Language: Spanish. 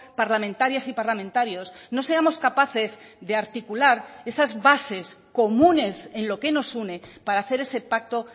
parlamentarias y parlamentarios no seamos capaces de articular esas bases comunes en lo que nos une para hacer ese pacto